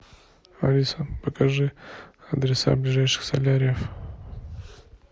алиса покажи адреса ближайших соляриев